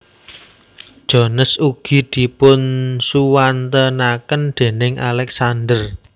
Jones ugi dipunsuwantenaken déning Alexander